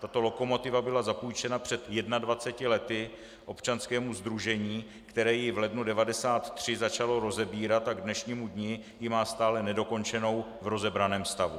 Tato lokomotiva byla zapůjčena před 21 lety občanskému sdružení, které ji v lednu 1993 začalo rozebírat a k dnešnímu dni ji má stále nedokončenou v rozebraném stavu.